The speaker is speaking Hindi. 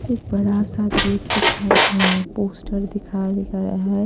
एक बड़ा सा गेट दिखा और पोस्टर दिखा दिखा रहा है।